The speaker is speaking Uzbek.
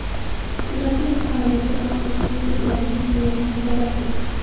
ularda esa samolyotda paxta ustiga sepiladigan kimyoviy moddalar bo‘lgan.